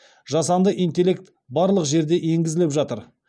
жасанды интеллект барлық жерде енгізіліп жатыр